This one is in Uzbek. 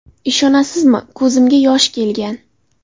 Ishonasizmi, ko‘zimga yosh kelgan.